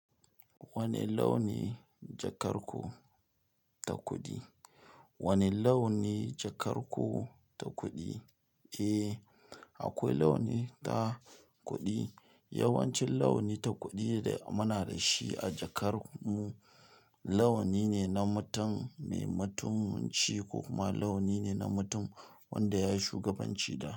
Wane launi jakar ku ta kuɗi? Wane launi jakar ku ta kuɗi? Eh, akwai launi ta kuɗi. Yawancin launi ta kuɗi da muna da shi a jakar mu, launi ne na mutum mai matunci ko kuma launi ne na mutum wanda ya yi shugabanci da.